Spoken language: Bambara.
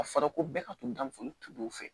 A fɔra ko bɛɛ ka to gundo tun do fɛ